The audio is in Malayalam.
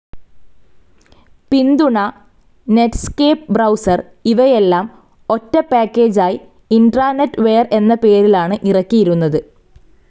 പിന്തുണ, നെറ്റ്സ്കേപ്പ് ബ്രൌസർ ഇവയെല്ലാം ഒറ്റ പാക്കേജായി ഇൻട്രാനെറ്റ്‌ വെയർ എന്ന പേരിലാണ് ഇറക്കിയിരുന്നത്.